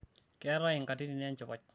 keetae inkatitin enchipai